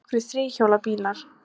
Nokkrir þríhjóla bílar.